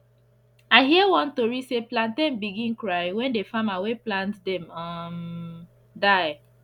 i hear one tori say plantain begin cry when the farmer wey plant dem um die